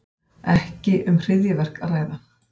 Ekki um hryðjuverk að ræða